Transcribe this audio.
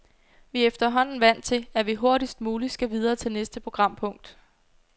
Vi er efterhånden vant til, at vi hurtigst muligt skal videre til næste programpunkt.